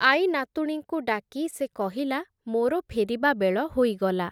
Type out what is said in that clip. ଆଈନାତୁଣୀଙ୍କୁ ଡାକି ସେ କହିଲା, ମୋର ଫେରିବାବେଳ ହୋଇଗଲା ।